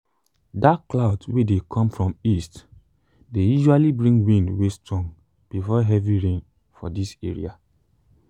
dark cloud wey dey come from east dey usually bring wind way strong before heavy rain for this area.